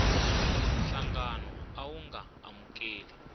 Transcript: nhlangano a wu nga amukeli